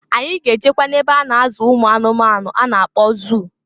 Anyị ga-ejekwa n'ebe a na-azụ ụmụanụmanụ a na-akpọ zụụ.